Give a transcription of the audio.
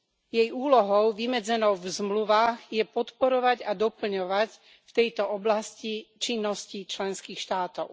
Jej úlohou, vymedzenou v zmluvách, je podporovať a doplňovať v tejto oblasti činnosti členských štátov.